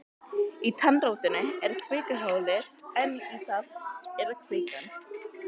Í tannrótinni er kvikuholið en í því er kvikan.